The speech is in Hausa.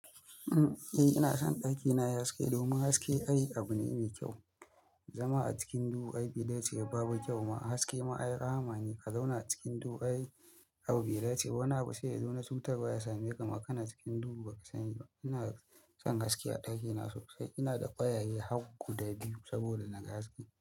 Eh ina son ɗakina yayi haske domin haske ai abu ne mai kyau. Zama a cikin duhu ai bai dace ba babu kyau ma haske ma ai rahama ne ka zauna a cikin duhu ai abu bai dace ba. Wani abu sai ya zo na cutarwa ya same ka ma ka na cikin duhu ba ka sani ba. Ina son haske a ɗakina sosai. Ina da ƙwayaye har guda biyu saboda na ga haske.